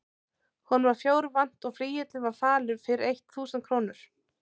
Honum var fjár vant og flygillinn var falur fyrir eitt þúsund krónur.